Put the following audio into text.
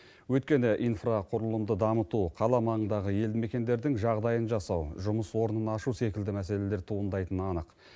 өйткені инфрақұрылымды дамыту қала маңындағы елді мекендердің жағдайын жасау жұмыс орнын ашу секілді мәселелер туындайтыны анық